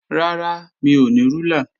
Rárá, mi ò ní rúlà